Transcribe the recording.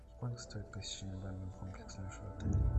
сколько стоит посещение банноно комплекса в отеле